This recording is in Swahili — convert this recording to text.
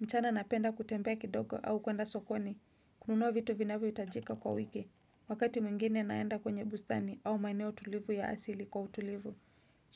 Mchana napenda kutembea kidogo au kwenda sokoni, kununua vitu vinavyo hitajika kwa wiki. Wakati mwingine naenda kwenye bustani au maeneo tulivu ya asili kwa utulivu